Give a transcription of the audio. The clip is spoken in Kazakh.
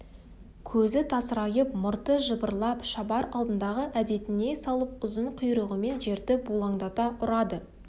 көзі тасырайып мұрты жыбырлап шабар алдындағы әдетіне салып ұзын құйрығымен жерді бұлаңдата ұрады